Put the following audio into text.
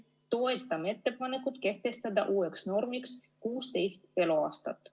Toetame ettepanekut kehtestada uueks normiks 16 eluaastat.